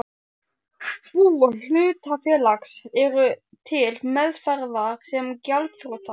bú hlutafélags, eru til meðferðar sem gjaldþrota.